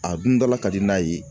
A dun dala ka di n'a ye.